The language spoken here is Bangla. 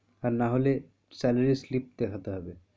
আর না হলে salary slip দেখাতে হবে,